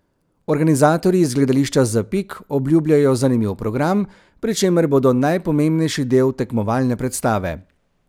Organizatorji iz Gledališča Zapik obljubljajo zanimiv program, pri čemer bodo najpomembnejši del tekmovalne predstave.